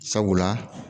Sabula